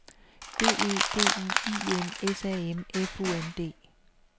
B E D U I N S A M F U N D